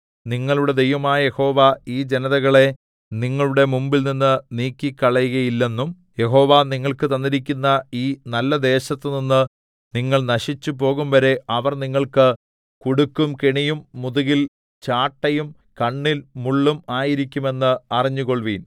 നിങ്ങളുടെ ദൈവമായ യഹോവ ഈ ജനതകളെ നിങ്ങളുടെ മുമ്പിൽനിന്ന് നീക്കിക്കളകയില്ലെന്നും യഹോവ നിങ്ങൾക്ക് തന്നിരിക്കുന്ന ഈ നല്ലദേശത്തുനിന്ന് നിങ്ങൾ നശിച്ചുപോകുംവരെ അവർ നിങ്ങൾക്ക് കുടുക്കും കെണിയും മുതുകിൽ ചാട്ടയും കണ്ണിൽ മുള്ളും ആയിരിക്കുമെന്ന് അറിഞ്ഞുകൊൾവീൻ